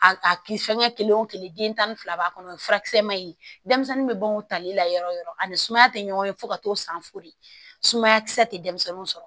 A a kisi fɛngɛ kelen o kelen den tan ni fila b'a kɔnɔ o furakisɛman in denmisɛnnin bɛ ban o tali la yɔrɔ o yɔrɔ ani sumaya tɛ ɲɔgɔn ye fo ka t'o san fo de sumaya kisɛ tɛ denmisɛnninw sɔrɔ